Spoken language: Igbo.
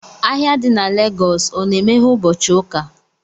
Ahịa di na Lagos o na-emeghe ụbọchị ụka